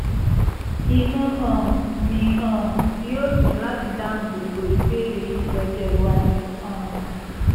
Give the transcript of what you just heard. inú um mi um yóò dùn láti dáhùn gbogbo ìbéèrè yín lọ́jọ́ iwájú um